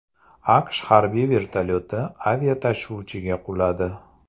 AQSh harbiy vertolyoti aviatashuvchiga quladi.